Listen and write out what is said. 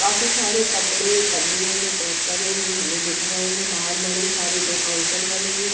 काफी सारे कपड़े पन्नियों में पैक करे हुए हमें दिख रहे हैं बाहर बड़े सारे दो काउंटर बने हैं ।